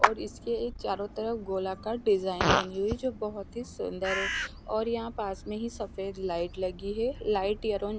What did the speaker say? और इसके एक चारो तरफ गोलाकार डिज़ाइन बनी हुई है जो बहुत ही सुन्दर है और यहाँ पास में ही सफ़ेद लाइट लगी है लाइट --